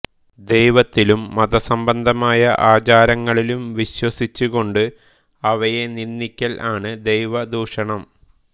ദൈവത്തിലും മതസംബന്ധമായ ആചാരങ്ങളിലും വിശ്വസിച്ചു കൊണ്ട് അവയെ നിന്ദിക്കൽ ആണ് ദൈവദൂഷണം